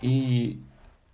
и